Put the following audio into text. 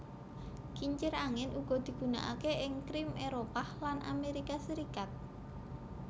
Kincir angin uga digunanaké ing Krim Éropah lan Amérika Serikat